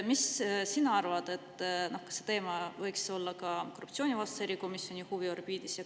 Mis sina arvad, kas see teema võiks olla korruptsioonivastase erikomisjoni huviorbiidis?